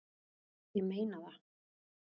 Ég meina það!